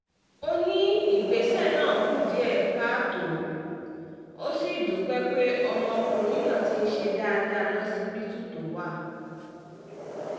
ó ní ìgbésẹ̀ náà kù díẹ̀ káàtó ó sì dúpẹ́ pé ọmọkùnrin náà ti ń ṣe dáadáa lọsibítù tó wà